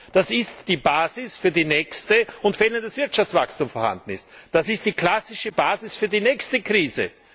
Das ist die Basis für die nächste und wenn auch das Wirtschaftswachstum vorhanden ist das ist die klassische Basis für die nächste Krise!